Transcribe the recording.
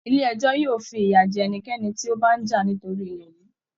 Ilé ẹjọ́ yóò fiya jẹ ẹnikẹ́ni tí ó bá ń jà nítorí ilẹ̀ yìí